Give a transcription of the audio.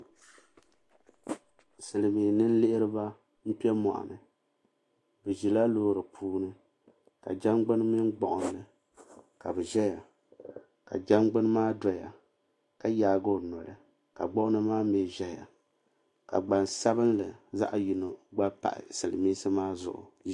Silimiin ninlihiriba n kpɛ moɣuni bɛ zila loori puuni ka jangbini mini gbuɣinli ka bɛ ʒɛya ka jangbini maa doya ka yaagi o noli ka gbuɣinli maa mee ʒɛya ka gbansabinli zaɣa gba pahi silimiinsi maa zuɣu.